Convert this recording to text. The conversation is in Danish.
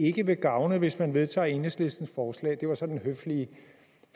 ikke vil gavne hvis man vedtager enhedslistens forslag det var så den høflige